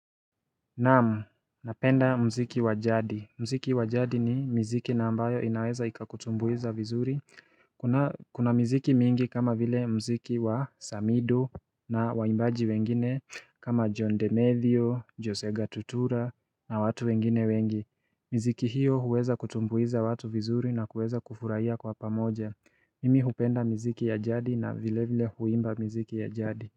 Naam, napenda mziki wajadi. Mziki wajadi ni mziki na ambayo inaweza ikakutumbuiza vizuri. Kuna mmziki mingi kama vile mziki wa Samido na waimbaji wengine kama John Demetheo, Jose ga Tutura na watu wengine wengi. Miziki hiyo huweza kutumbuiza watu vizuri na kuweza kufurahia kwa pamoja. Mimi hupenda miziki ya jadi na vile vile huimba miziki ya jadi.